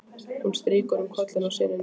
Hún strýkur um kollinn á syninum.